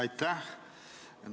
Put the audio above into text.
Aitäh!